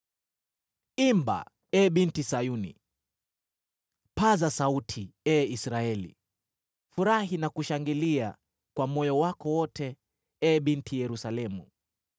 Imba, ee Binti Sayuni; paza sauti, ee Israeli! Furahi na kushangilia kwa moyo wako wote, ee Binti Yerusalemu!